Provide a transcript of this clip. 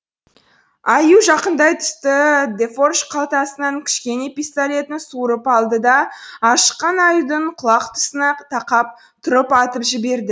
аю жақындай түсті дефорж қалтасынан кішкене пистолетін суырып алды да ашыққан аюдың құлақ тұсына тақап тұрып атып жіберді